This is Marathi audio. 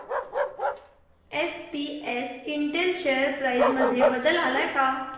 एसपीएस इंटेल शेअर प्राइस मध्ये बदल आलाय का